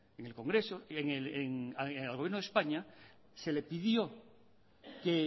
en el congreso al gobierno de españa se le pidió que